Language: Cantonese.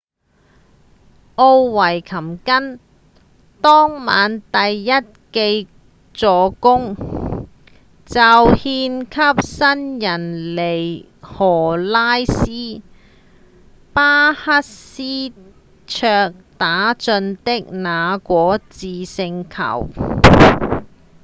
奧維琴根當晚第一記助攻就獻給新人尼可拉斯‧巴克斯卓打進的那顆致勝球；